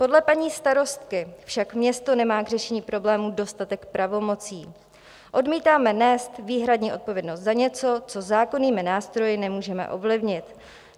Podle paní starostky však město nemá k řešení problémů dostatek pravomocí: "Odmítáme nést výhradně odpovědnost za něco, co zákonnými nástroji nemůžeme ovlivnit.